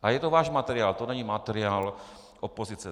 A je to váš materiál, to není materiál opozice.